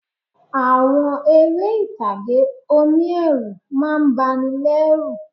Àwọn eré ìtàgé oní ẹ̀rù má a ń bani lẹ́ rù